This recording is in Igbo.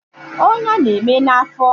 Ọnya na-eme na afọ